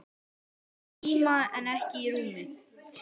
Í tíma en ekki í rúmi.